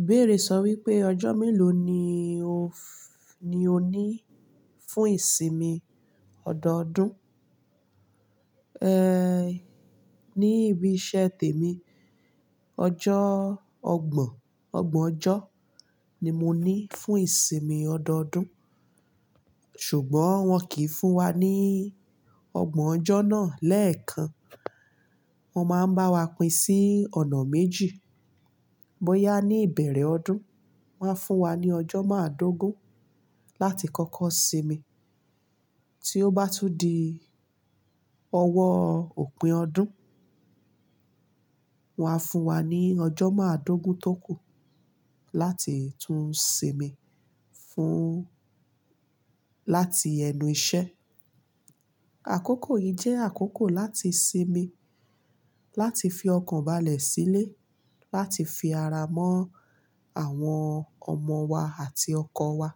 Ìbéèrè sọ wípé ọjọ́ mélòó ni o ní fún ìsinmi ọdọọdún? Ní ibi iṣẹ́ tèmi, ọjọ́ ọgbọ̀n, ọgbọ̀n ọjọ́ ni mo ní fún ìsinmi ọdọọdún. Ṣùgbọ́n wọn kìí fún wa ní ọgbọ̀n ọjọ́ náà lẹ́ẹ̀kan. Wọn máa ń bá wa pín sí ọ̀nà méjì. Bóyá ní ìbẹ̀rẹ̀ ọdún, wón a máa fún wa ní ọjọ́ márùndogún láti kọ́kọ́ sinmi. Tí ó bá tún di ọwọ́ òpin ọdún, wón á fún wa ní ọjọ́ márùndogún tó kù láti tún sinmi fún-- láti ẹnu iṣẹ́. Àkókò yìí jẹ́ àkókò láti sinmi, láti fi ọkàn balẹ̀ sílé, láti fi ara mọ́ àwọn ọmọ wa àti ọkọ wa.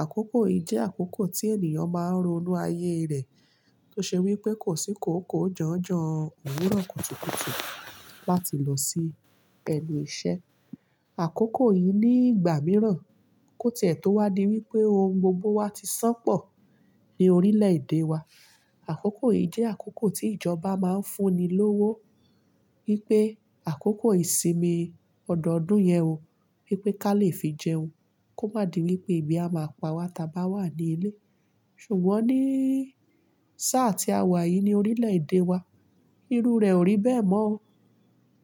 Àkókò yìí jẹ́ àkókò tí ènìyàn máa ń ronú ayé rẹ̀. Tó ṣe wípé kò sí kòókòó jọ̀njọ̀n òwúrọ̀ kùtùkùtù láti lọ sí ẹnu iṣẹ́. Àkókò yìí ní ìgbà mìíràn kò tìẹ̀ tó wá di wípé ohun gbogbo wa ti san pọ̀ ní orílẹ̀-èdè wa. Àkókò yìí jẹ́ àkókò tí ìjọba máa ń fún ni lówó. Wípé àkókò ìsinmi ọdọọdún yẹn o, wípé ká lè fi jẹun. Kó má di wípé ebí a máa pa wa tí a bá wà ní ilé. Ṣùgbọ́n ní sáà tí awà yìí ní orílẹ̀-èdè wa, irú rẹ̀ ò rí bẹ́ẹ̀ mọ́ o.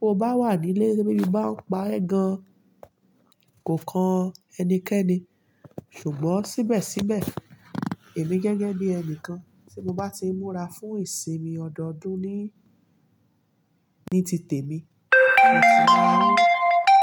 Tó bá wà ní ilé, te bí báa ń pa ẹ̀ gan, kò kan ẹnikẹ́ni. Ṣùgbọ́n síbẹ̀síbẹ̀, èmi gẹ́gẹ́ bí ẹnìkan tí mo bá ti múra fún ìsinmi ọdọọdún ní, ní ti tèmi.